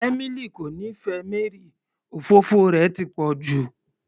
Emily kò nífẹẹ Mary, òfófó rẹ̀ ti pọ̀ jù